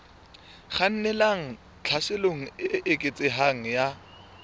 kgannelang tlhaselong e eketsehang ya